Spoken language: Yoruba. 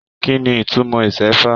Kínní ìtumọ̀ isẹfa?